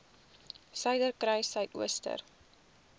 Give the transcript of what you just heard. suiderkruissuidooster